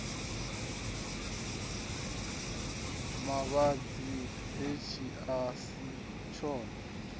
mavhadzi hetshi a si tshone